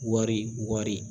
Wari wari